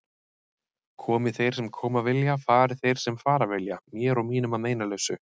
Komi þeir sem koma vilja, fari þeir sem fara vilja, mér og mínum að meinalausu.